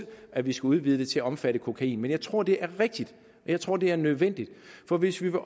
at vi skal udvide det til at omfatte kokain men jeg tror det er rigtigt og jeg tror det er nødvendigt for hvis vi vil